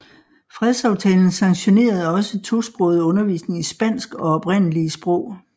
Fredsaftalen sanktionerede også tosproget undervisning i spansk og oprindelige sprog